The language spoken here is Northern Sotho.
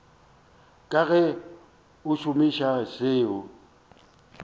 ka ge a šomiša seo